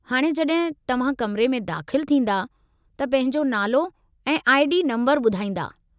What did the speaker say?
हाणे जॾहिं तव्हां कमरे में दाख़िलु थींदा त पंहिंजो नालो ऐं आई. डी. नंबरु ॿुधाईंदा।